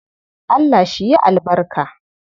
Allah shi yi albarka.